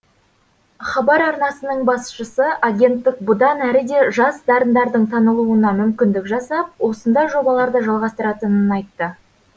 хабар арнасының басшысы агенттік бұдан әрі де жас дарындардың танылуына мүмкіндік жасап осындай жобаларды жалғастыратынын айтты